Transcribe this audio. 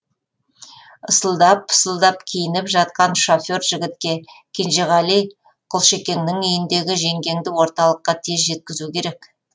ысылдап пысылдап киініп жатқан шофер жігітке кенжеғали құлшекеңнің үйіндегі жеңгеңді орталыққа тез жеткізу керек